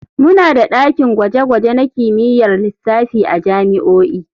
Muna da dakin gwaje-gwaje na kimiyyar lissafi a jami'o'i.